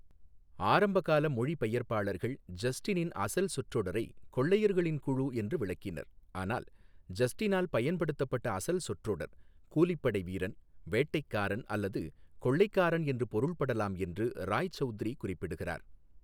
ஆரம்பகால மொழிபெயர்ப்பாளர்கள் ஜஸ்டினின் அசல் சொற்றொடரை "கொள்ளையர்களின் குழு" என்று விளக்கினர், ஆனால் ஜஸ்டினால் பயன்படுத்தப்பட்ட அசல் சொற்றொடர் "கூலிப்படை வீரன், வேட்டைக்காரன் அல்லது கொள்ளைக்காரன்" என்று பொருள்படலாம் என்று ராய்சவுத்ரி குறிப்பிடுகிறார்.